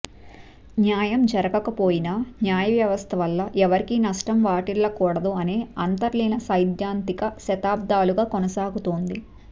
న్యాయం జరగకపోయినా న్యాయవ్యవస్థ వల్ల ఎవరికీ నష్టం వాటిల్లకూడదు అనే అంతర్లీన సైద్ధాంతిక శతాబ్దాలుగా కొనసాగుతోంది